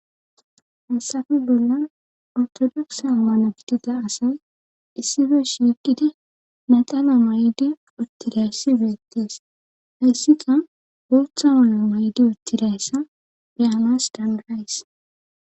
Hasafe bolla artodokse ammana bidida asay issife shiqidi maxana may7di uttidayssi beettees hayssika ootha ala may7edi uttidayssa beyamas danrays